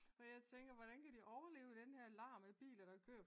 Og jeg tænker hvordan kan de overlever i den her larm med biler der kører?